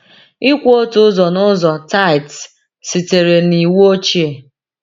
Ịkwụ otu ụzọ n’ụzọ (tithes) sitere na Iwu Ochie.